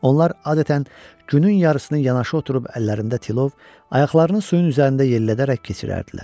Onlar adətən günün yarısını yanaşı oturub əllərində tilov, ayaqlarını suyun üzərində yellədərək keçirərdilər.